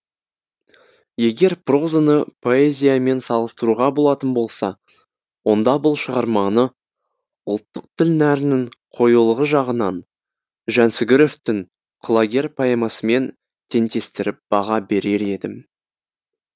егер прозаны поэзиямен салыстыруға болатын болса онда бұл шығарманы ұлттық тіл нәрінің қоюлығы жағынан жансүгіровтің құлагер поэмасымен теңдестіріп баға берер едім